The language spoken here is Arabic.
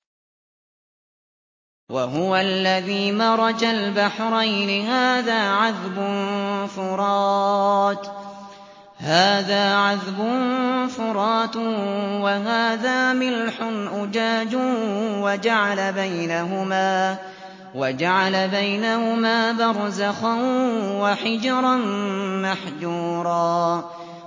۞ وَهُوَ الَّذِي مَرَجَ الْبَحْرَيْنِ هَٰذَا عَذْبٌ فُرَاتٌ وَهَٰذَا مِلْحٌ أُجَاجٌ وَجَعَلَ بَيْنَهُمَا بَرْزَخًا وَحِجْرًا مَّحْجُورًا